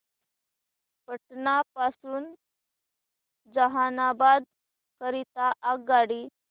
पटना पासून जहानाबाद करीता आगगाडी